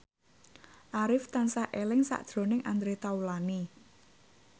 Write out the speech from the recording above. Arif tansah eling sakjroning Andre Taulany